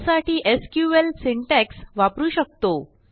त्यासाठी SQL syntax वापरू शकतो